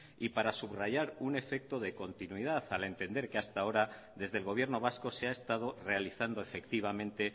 y para subrayar un efecto de continuidad al entender que hasta ahora desde el gobierno vasco se ha estado realizando efectivamente